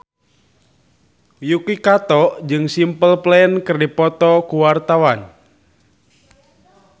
Yuki Kato jeung Simple Plan keur dipoto ku wartawan